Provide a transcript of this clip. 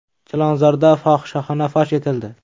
Chilonzorda fohishaxona fosh etildi.